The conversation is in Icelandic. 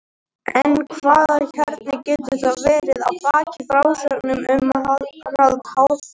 en hvaða kjarni getur þá verið að baki frásögnum um harald hárfagra